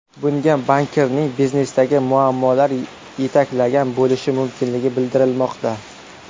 Bunga bankirni biznesdagi muammolar yetaklagan bo‘lishi mumkinligi bildirilmoqda.